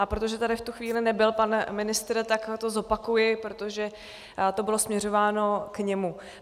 A protože tady v tu chvíli nebyl pan ministr, tak to zopakuji, protože to bylo směřováno k němu.